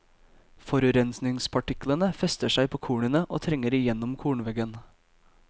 Forurensningspartiklene fester seg på kornene og trenger igjennom kornveggen.